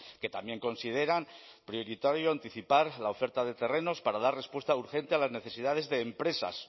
que también consideran prioritario anticipar la oferta de terrenos para dar respuesta urgente a las necesidades de empresas